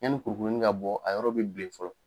Yanni kuru kuruni ka bɔ a yɔrɔ bɛ bilen fɔlɔ.